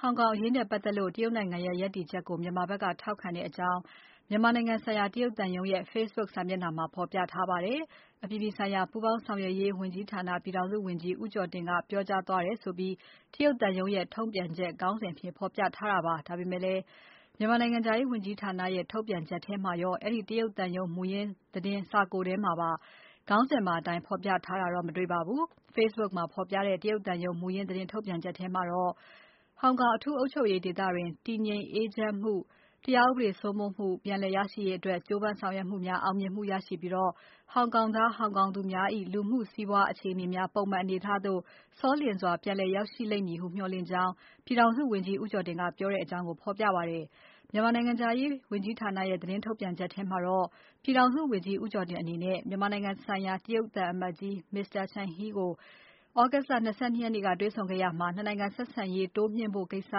ဟောင်ကောင်အရေးနဲ့ပတ်သက်လို့ တရုတ်နိုင်ငံရဲ့ရပ်တည်ချက်ကို မြန်မာဖက်က ထောက်ခံတဲ့အကြောင်း မြန်မာနိုင်ငံဆိုင်ရာတရုတ်သံရုံးရဲ့ ဖေ့ဘုတ်စာမျက်နှာမှာ ဖော်ပြထားပါတယ်။ အပြည်ပြည်ဆိုင်ရာပူးပေါင်းဆောင်ရွက်ရေးဝန်ကြီးဌာန ပြည်ထောင်စုဝန်ကြီး ဦးကျော်တင်က ပြောကြားသွားတယ်ဆိုပြီး သံရုံးရဲ့သတင်းထုတ်ပြန်ချက် ခေါင်းစဉ်အဖြစ် ဖော်ပြထားတာပါ။ ဒါပေမယ့်လည်း မြန်မာနိုင်ငံခြားရေးဝန်ကြီးဌာနရဲ့ ထုတ်ပြန်ချက်ထဲမှာရော၊ အဲဒီ တရုတ်သံရုံးမူရင်းသတင်း စာကိုယ်ထဲမှာရော ခေါင်းစဉ်ပါအတိုင်း ဖော်ပြထားတာတော့ မတွေ့ရပါဘူး။ ဖေ့ဘုတ်မှာဖော်ပြတဲ့ တရုတ်သံရုံး မူရင်းသတင်းထုတ်ပြန်ချက်ထဲမှာတော့ “ဟောင်ကောင်အထူးအုပ်ချုပ်ရေးဒေသတွင် တည်ငြိမ်အေးချမ်းမှု၊ တရားဥပဒေစိုးမိုးမှု ပြန်လည်ရရှိရေးအတွက် ကြိုးပမ်းဆောင်ရွက်မှုများ အောင်မြင်မှုရရှိပြီး ဟောင်ကောင်သား ဟောင်ကောင်သူများ၏ လူမှုစီးပွားအခြေအနေများ ပုံမှန်အနေ အထားသို့ စောလျင်စွာ ပြန်လည်ရောက်ရှိလိမ့်မည်ဟု မျှော်လင့်ကြောင်း” ပြည်ထောင်စုဝန်ကြီးဦးကျော်တင်က ပြောတဲ့အကြောင်း ဖော်ပြပါတယ်။ မြန်မာနိုင်ငံခြားရေးဝန်ကြီးဌာနရဲ့ သတင်းထုတ်ပြန်ချက်မှာတော့ ပြည်ထောင်စုဝန်ကြီး ဦးကျော်တင်အနေနဲ့ မြန်မာနိုင်ငံဆိုင်ရာတရုတ်သံအမတ်ကြီး Mr.Chen Hai ကို သြဂုတ်လ ၂၂ ရက်နေ့က တွေ့ဆုံခဲ့ရာမှာ နှစ်နိုင်ငံဆက်ဆံရေးတိုးမြင့်ဖို့ကိစ္စ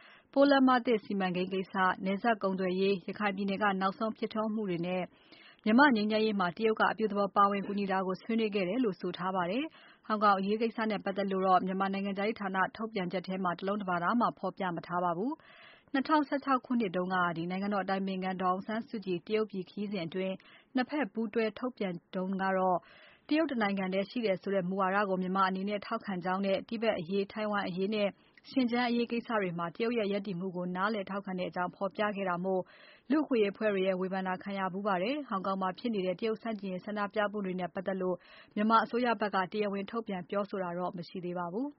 ၊ ပိုးလမ်းမသစ်စီမံကိန်းကိစ္စ၊ နယ်စပ်ကုန်သွယ်ရေး၊ ရခိုင်ပြည်နယ်က နောက်ဆုံးဖြစ်ထွန်းမှုတွေနဲ့ မြန်မာ့ငြိမ်းချမ်းရေးမှာ တရုတ်က အပြုသဘော ပါဝင်ကူညီတာတွေကို ဆွေးနွေးခဲ့တယ်လို့ ဆိုထားပါတယ်။ ဟောင်ကောင်အရေးကိစ္စနဲ့ပတ်သက်လို့တော့ မြန်မာနိုင်ငံခြားရေးဌာန ထုတ်ပြန်ချက်မှာ တလုံး တပါဒမှ မဖော်ပြထားပါဘူး။ ၂၀၁၆ ခုနှစ်တုန်းက နိုင်ငံတော်အတိုင်ပင်ခံပုဂ္ဂိုလ်ဒေါ်အောင်ဆန်းစုကြည် တရုတ်ပြည်ခရီးစဉ်အတွင်း နှစ်ဖက်ပူးတွဲထုတ်ပြန်ချက်ထဲမှာတော့ တရုတ်တနိုင်ငံထဲရှိတယ်ဆိုတဲ့ မူဝါဒကို မြန်မာအနေနဲ့ ထောက်ခံကြောင်းနဲ့၊ တိဗက်အရေး ထိုင်ဝမ်အရေးနဲ့ ရှင်ကျန်းအရေးကိစ္စတွေမှာ တရုတ်ရဲ့ရပ်တည်မှုကို နားလည်ထောက်ခံတဲ့အကြောင်း ဖော်ပြခဲ့တာမို့ လူ့အခွင့်အရေးအဖွဲ့တွေရဲ့ ဝေဖန်တာခံခဲ့ရဖူးပါတယ်။ ဟောင်ကောင်မှာဖြစ်နေတဲ့ တရုတ်ဆန့်ကျင်ရေးဆန္ဒပြမှုတွေနဲ့ပတ်သက်လို့ မြန်မာအစိုးရဖက်က တရားဝင်ထုတ်ပြန်ပြောဆိုတာတွေ မရှိသေးပါဘူး။